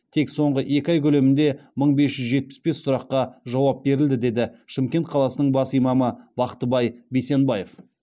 тек соңғы екі ай көлемінде мың бесжүз жетпіс бес сұраққа жауап берілді деді шымкент қаласының бас имамы бақтыбай бейсенбаев